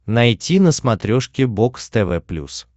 найти на смотрешке бокс тв плюс